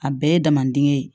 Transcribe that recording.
A bɛɛ ye damade ye